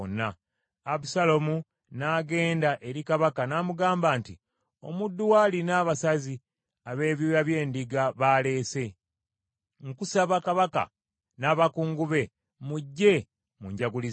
Abusaalomu n’agenda eri kabaka n’amugamba nti, “Omuddu wo alina abasazi ab’ebyoya by’endiga baaleese. Nkusaba kabaka n’abakungu be, mujje munjagulizeeko.”